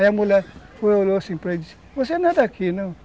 Aí a mulher olhou assim para ele e disse, você não é daqui, não?